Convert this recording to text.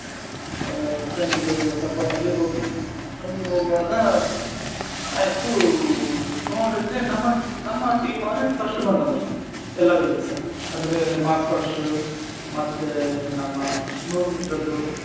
ಆ friend ದ್ದು support ಅಲ್ಲಿ ಹೋಗಿದ್ದು ಅಲ್ಲಿಗ್ ಹೋಗುವಾಗ ಆಯ್ತು ನೋಡಿದ್ರೆ ನಮ್ಮ ನಮ್ಮ team ಅವ್ರೇ first ಬಂದದಲ್ಲ ಎಲ್ಲದ್ರಲ್ಲಿಸಾ. ಅಂದ್ರೆ march past ಮತ್ತೆ ನಮ್ಮ ನೂರು meter ದ್ದು.